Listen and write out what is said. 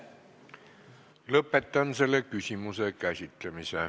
Lõpetan selle küsimuse käsitlemise.